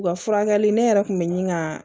U ka furakɛli ne yɛrɛ kun bɛ ɲini ka